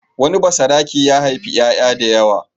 Wani basarake ya haifi ƴaƴa da yawa.